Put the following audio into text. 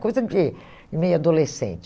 Coisa de meio adolescente.